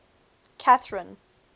catherine